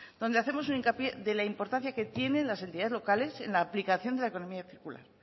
donde hacemos un hincapié de la importancia que tienen las entidades locales en la aplicación de la economía circular